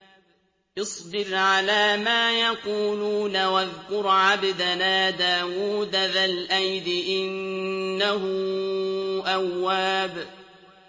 اصْبِرْ عَلَىٰ مَا يَقُولُونَ وَاذْكُرْ عَبْدَنَا دَاوُودَ ذَا الْأَيْدِ ۖ إِنَّهُ أَوَّابٌ